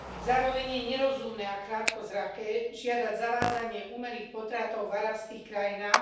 Zároveň je nerozumné a krátkozraké žiadať zavádzanie umelých potratov v arabských krajinách.